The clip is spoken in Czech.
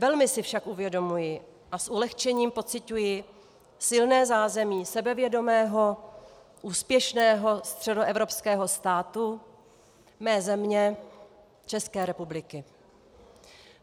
Velmi si však uvědomuji a s ulehčením pociťuji silné zázemí sebevědomého, úspěšného středoevropského státu, mé země, České republiky.